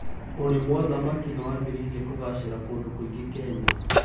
ũrĩmwa thamaki nĩwambĩtie kugacĩra kũndũ kũingì Kenya